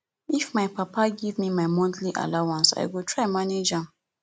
if my papa give me my monthly allowance i go try manage am